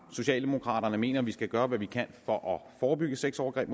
socialdemokraterne mener at vi skal gøre hvad vi kan for at forebygge sexovergreb